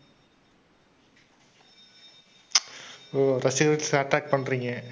ஓ! ரசிகர்களை வெச்சு attack பண்றீங்க.